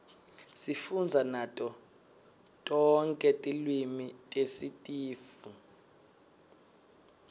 sifundza nato tonke tilwimi tesitifu